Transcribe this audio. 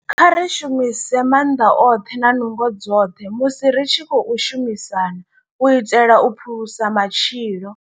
Kha ri shumise maanḓa oṱhe na nungo dzoṱhe musi ri tshi khou shumisana u itela u phulusa matshilo.